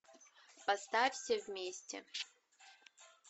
поставь все вместе